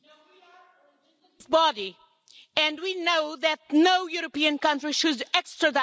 we know that no European country should extradite to a country that has the death penalty.